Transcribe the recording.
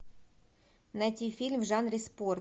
найти фильм в жанре спорт